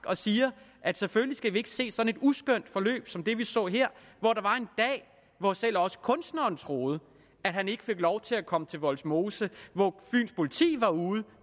og siger at selvfølgelig skal vi ikke se sådan et uskønt forløb som det vi så her hvor der var en dag hvor selv kunstneren troede at han ikke fik lov til at komme til vollsmose og hvor fyns politi var ude